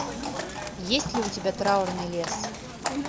есть ли у тебя траурный лес